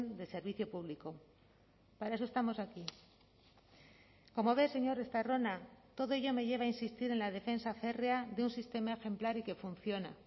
de servicio público para eso estamos aquí como ve señor estarrona todo ello me lleva a insistir en la defensa férrea de un sistema ejemplar y que funciona